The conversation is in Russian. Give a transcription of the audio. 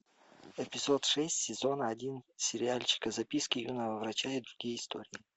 эпизод шесть сезона один сериальчика записки юного врача и другие истории